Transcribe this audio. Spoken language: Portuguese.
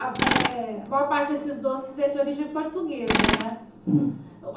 A eh maior parte desses doces é de origem portuguesa, né?